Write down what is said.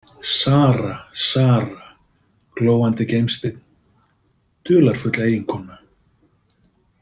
Sara, Sara, glóandi gimsteinn, dularfull eiginkona.